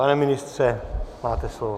Pane ministře, máte slovo.